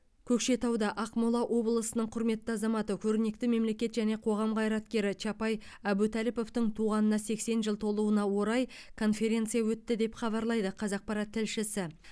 көкшетауда ақмола облысының құрметті азаматы көрнекті мемлекет және қоғам қайраткері чапай әбутәліповтың туғанына сексен жыл толуына орай конференция өтті деп хабарлайды қазақпарат тілшісі